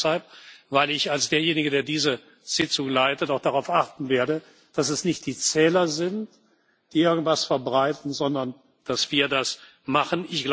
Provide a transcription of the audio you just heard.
Ich sage das deshalb, weil ich als derjenige, der diese Sitzung leitet, auch darauf achten werden, dass es nicht die Zähler sind, die irgendetwas verbreiten, sondern dass wir das machen.